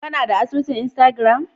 Kanada asusun instagram.